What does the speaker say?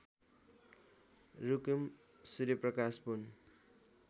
Rukum Suryaprakash Pun